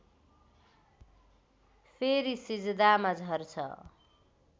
फेरि सिजदामा झर्छ